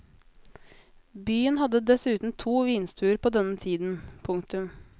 Byen hadde dessuten to vinstuer på denne tiden. punktum